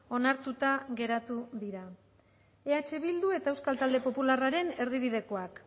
onartuta geratu dira eh bildu eta euskal talde popularraren erdibidekoak